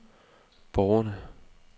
borgerne